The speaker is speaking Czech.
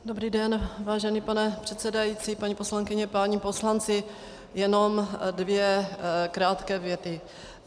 Dobrý den, vážený pane předsedající, paní poslankyně, páni poslanci, jenom dvě krátké věty.